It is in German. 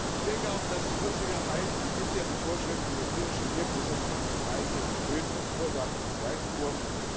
Ich denke auch, dass die Unsicherheiten, die bisher die Vorschriften über tierische Nebenprodukte von freilebendem Wild verursachten, beseitigt wurden.